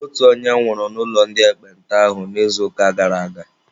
Otu onye nwụrụ n'ụlọ ndị ekpenta ahụ n'izuụka gara aga.